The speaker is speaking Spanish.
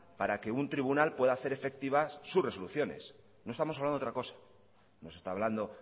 para que un tribunal pueda hacer efectivas sus resoluciones no estamos hablando de otra cosa no se está hablando